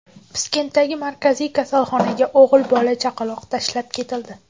Piskentdagi markaziy kasalxonaga o‘g‘il bola chaqaloq tashlab ketildi.